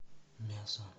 мясо